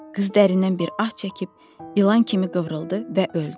Qız dərindən bir ah çəkib ilan kimi qıvrıldı və öldü.